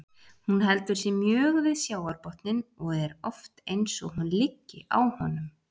Hún heldur sig mjög við sjávarbotninn og er oft eins og hún liggi á honum.